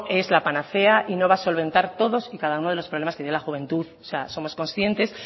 es la panacea y no va a solventar todos y cada uno de los problemas que tiene la juventud o sea somos consientes